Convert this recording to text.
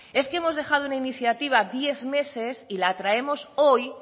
es que hemos dejado una iniciativa diez meses y la traemos hoy